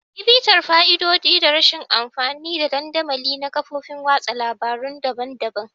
Yi bitar fa'idodi da rashin amfani da dandamali na kafofin watsa labarun daban-daban.